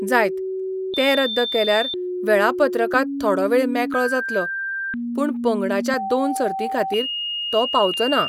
जायत, ते रद्द केल्यार वेऴापत्रकांत थोडो वेळ मेकळो जातलो, पूण पंगडांच्या दोन सर्तींखातीर तो पावचो ना.